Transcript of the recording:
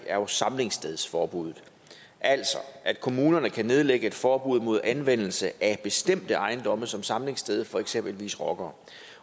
er jo samlingsstedsforbuddet altså at kommunerne kan nedlægge et forbud mod anvendelse af bestemte ejendomme som samlingssted for eksempelvis rockere